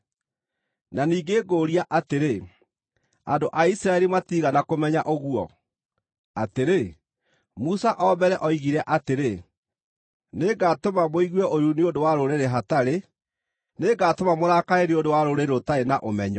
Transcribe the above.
Na ningĩ ngũũria atĩrĩ: Andũ a Isiraeli matiigana kũmenya ũguo? Atĩrĩ, Musa o mbere oigire atĩrĩ, “Nĩngatũma mũigue ũiru nĩ ũndũ wa rũrĩrĩ hatarĩ; nĩngatũma mũrakare nĩ ũndũ wa rũrĩrĩ rũtarĩ na ũmenyo!”